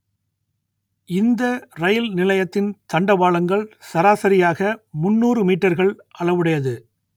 இந்த ரயில் நிலையத்தின் தண்டவாளங்கள் சராசரியாக முன்னூறு மீட்டர்கள் அளவுடையது